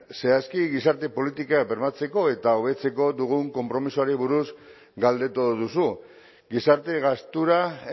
zehazki gizarte politika bermatzeko eta hobetzeko dugun konpromisoari buruz galdetu duzu gizarte gastura